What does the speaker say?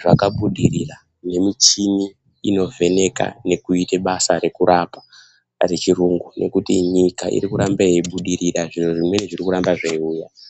zvakabudirira nemichini inovheneka nekuita basa rekurapa rechirungu nekuti nyika irikuramba yeibudirira zviro zvimweni zvirikuramba zveiuya.